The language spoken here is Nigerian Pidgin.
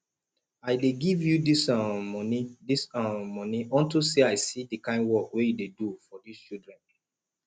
i dey give you dis um money dis um money unto say i see the kin work wey you dey do for dis children